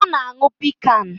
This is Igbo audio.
Ọ na-aṅụ piccan